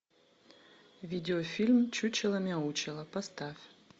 видеофильм чучело мяучело поставь